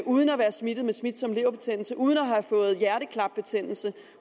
uden at være smittet med smitsom leverbetændelse uden at have fået hjerteklap betændelse